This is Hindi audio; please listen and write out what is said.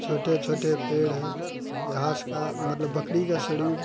छोटे-छोटे पेड़ हैं। घास का मतलब बकड़ी का शड़ीड़ --